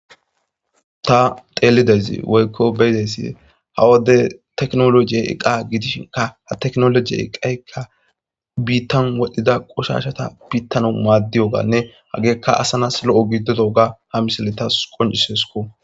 Ta teelidezi woykko beyidesi hawode teknologiye eqa gidishinka ha teknolojiye iqaykka biittan wodhdhida qoshashata biittano maaddiyo gaanne hageekka asanas lo'o gidodo ga ha misile tas qoncisesko.